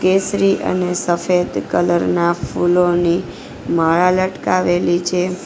કેસરી અને સફેદ કલર ના ફૂલોની માળા લટકાવેલી છે.